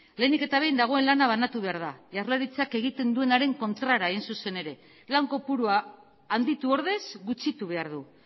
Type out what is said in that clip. lehenik eta behin dagoen lana banatu behar da jaurlaritzak egiten duenaren kontrara hain zuzen ere lan kopurua handitu ordez gutxitu behar du